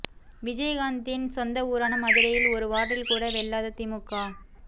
விஜயகாந்த்தின் சொந்த ஊரான மதுரையில் ஒரு வார்டில் கூட வெல்லாத தேமுதிக